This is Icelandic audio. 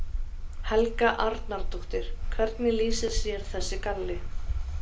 Helga Arnardóttir: Hvernig lýsir sér þessi galli?